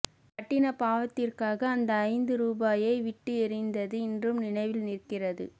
கட்டின பாவத்திற்காக அந்த ஐந்து ரூபாயை விட்டு எறிந்தது இன்றும் நினைவில் நிற்கிறது